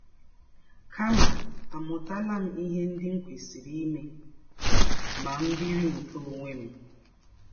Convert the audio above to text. kama àmụtala m ihe ndị m kwesịrị ime ma m biri nke ọnwe m?